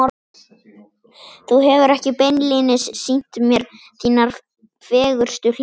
Þú hefur ekki beinlínis sýnt mér þínar fegurstu hliðar.